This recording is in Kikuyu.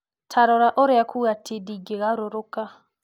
ta rora ũrĩa kuuga ti ndingĩgarũrũka.